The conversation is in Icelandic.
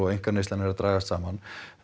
einkaneysla er að dragast saman